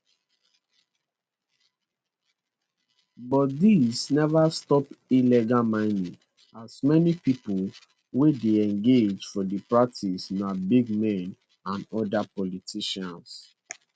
but dis neva stop illegal mining as many pipo wey dey engage for di practice na big men and oda politicians